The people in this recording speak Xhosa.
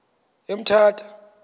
emthatha